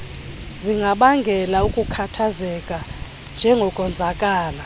zingabangela ukukhathazeka njengokonzakala